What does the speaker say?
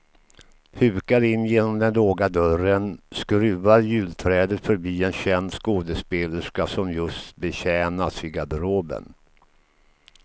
Hukar in genom den låga dörren, skruvar julträdet förbi en känd skådespelerska som just betjänas i garderoben.